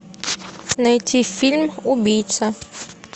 найти фильм убийца